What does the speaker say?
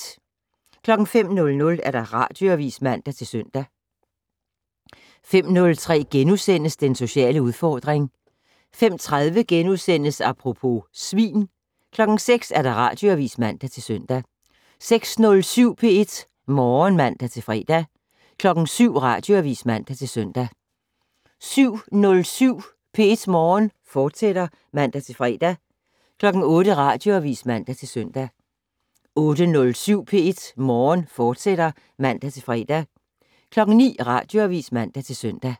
05:00: Radioavis (man-søn) 05:03: Den sociale udfordring * 05:30: Apropos - svin * 06:00: Radioavis (man-søn) 06:07: P1 Morgen (man-fre) 07:00: Radioavis (man-søn) 07:07: P1 Morgen, fortsat (man-fre) 08:00: Radioavis (man-søn) 08:07: P1 Morgen, fortsat (man-fre) 09:00: Radioavis (man-søn)